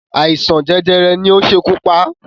Àìsàn jẹjẹrẹ ni ó ṣekú pá